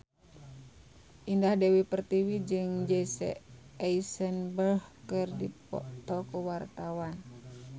Indah Dewi Pertiwi jeung Jesse Eisenberg keur dipoto ku wartawan